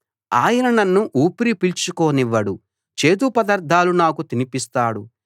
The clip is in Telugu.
ఆయన నన్ను ఊపిరి పీల్చుకోనివ్వడు చేదు పదార్థాలు నాకు తినిపిస్తాడు